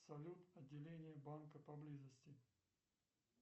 салют отделение банка поблизости